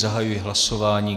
Zahajuji hlasování.